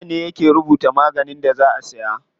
Likita ne ke rubuta maganin da za a siya.